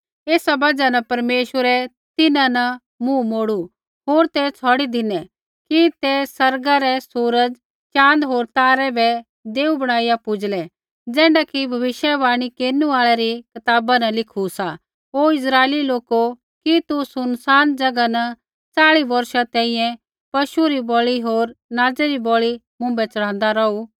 एथा बजहा न परमेश्वरै तिन्हां न मुँह मोड़ू होर ते छ़ौड़ी धिनै कि ते आसमाना रै सूर्य चाँद होर तारै बै देऊ बणाईया पूज़लै ज़ैण्ढा कि भविष्यवाणी केरनु आल़ै री कताबा न लिखू सा हे इस्राइली लोको कि तू सुनसान ज़ैगा न च़ाल़ी बौर्षा तैंईंयैं पशु री बलि होर नाज़ै री बलि मुँभै च़ढ़ाँदा रौहू